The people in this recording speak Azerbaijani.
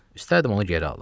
İstərdim onu geri alım.